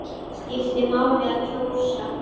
Skiptir máli að kjósa?